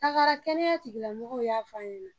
Tagara kɛnɛya tigilamɔgɔw y'a f'a ɲɛna